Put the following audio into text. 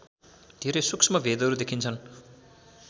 धेरै सूक्ष्म भेदहरू देखिन्छन्